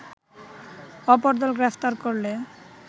অপরদল গ্রেফতার করলে